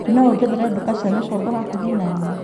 No ũnjethere nduka cia micongo hakuhĩ naniĩ ?